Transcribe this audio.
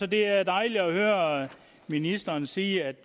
det er dejligt at høre ministeren sige at